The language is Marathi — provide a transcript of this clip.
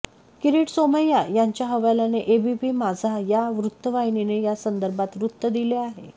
किरीट सोमय्या यांच्या हवाल्याने एबीपी माझा या वृत्तवाहिनीने यासंदर्भात वृत्त दिले आहे